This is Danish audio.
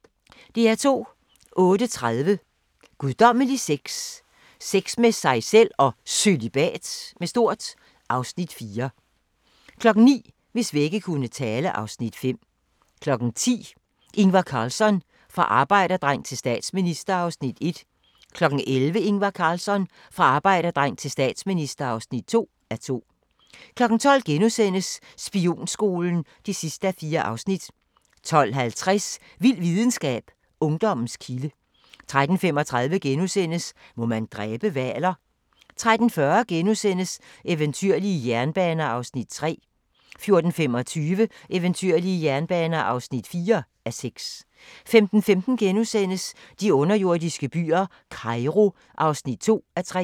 08:30: Guddommelig sex – Sex med sig selv og Cølibat (Afs. 4) 09:00: Hvis vægge kunne tale (Afs. 5) 10:00: Ingvar Carlsson – fra arbejderdreng til statsminister (1:2) 11:00: Ingvar Carlsson - fra arbejderdreng til statsminister (2:2) 12:00: Spionskolen (4:4)* 12:50: Vild videnskab: Ungdommens kilde 13:35: Må man dræbe hvaler? * 13:40: Eventyrlige jernbaner (3:6)* 14:25: Eventyrlige jernbaner (4:6) 15:15: De underjordiske byer – Kairo (2:3)*